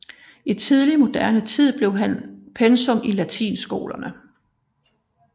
I tidlig moderne tid blev han pensum i latinskolerne